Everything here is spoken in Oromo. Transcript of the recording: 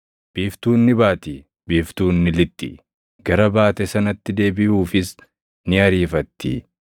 Biiftuun ni baati; biiftuun ni lixxi; gara baate sanatti deebiʼuufis ni ariifatti.